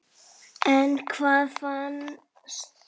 En hvað fannst Gunnari?